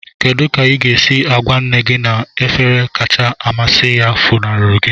Kedu ka ị ga-esi gwa nne gị na efere kacha amasị ya funahụrụ gị?